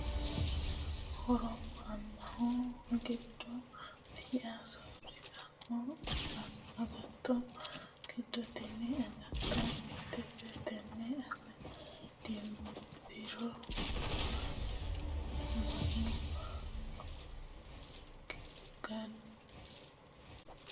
Horo mannaho giddo tii'a soorrittano agatto giddo tini agatto mitete tene age dimbiro mannu giddo tii'a diafirano wo'mankare hawano gede assittano agatto ikkino daafira agatto bikkunilla.